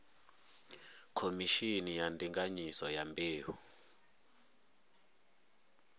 khomishini ya ndinganyiso ya mbeu